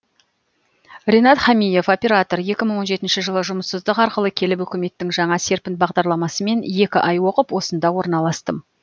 ренат хамиев оператор екі мың он жетінші жылы жұмыссыздық арқылы келіп үкіметтің жаңа серпін бағдарламасымен екі ай оқып осында орналастым